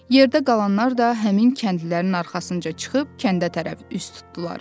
Yerdə qalanlar da həmin kəndlilərin arxasınca çıxıb kəndə tərəf üz tutdular.